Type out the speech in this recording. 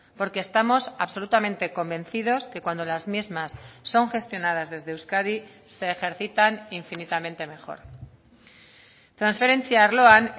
porque estamos absolutamente convencidos que cuando las mismas son gestionadas desde euskadi se ejercitan infinitamente mejor transferentzia arloan